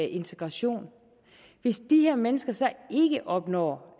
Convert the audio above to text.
integration hvis de her mennesker så ikke opnår